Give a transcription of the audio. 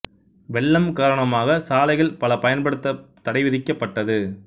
வெள்ளம் காரணமாக சாலைகள் பல பயன்படுத்தத் தடை விதிக் கப்பட்டது